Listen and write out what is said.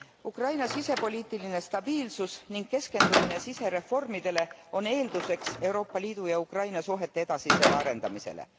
Ukraina sisepoliitiline stabiilsus ning keskendumine sisereformidele on eelduseks Euroopa Liidu ja Ukraina suhete edasisele arendamisele.